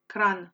Kranj.